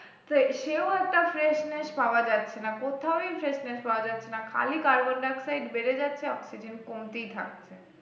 তো সেও একটা freshness পাওয়া যাচ্ছে না কোথাওই freshness পাওয়া যাচ্ছে না খালি carbon dioxide বেড়ে যাচ্ছে oxygen কমতেই থাকছে